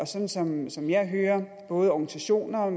sådan som som jeg hører både organisationer